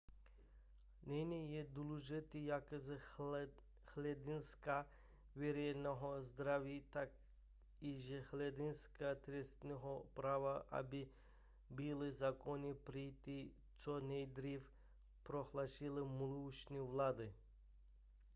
nyní je důležité jak z hlediska veřejného zdraví tak i z hlediska trestního práva aby byly zákony přijaty co nejdříve prohlásil mluvčí vlády